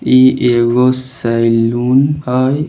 इ एगो सलून हेय।